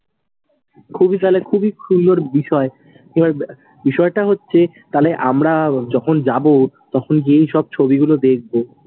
খুবই তালে খূবই সুন্দর বিষয়। বিষয়টা হচ্ছে তালে আমরা যখন যাবো, তখন গিয়েই সব ছবি গুলো দেখবো।